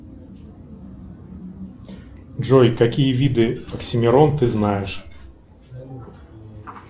джой какие виды оксимирон ты знаешь